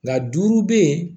Nka duuru bɛ yen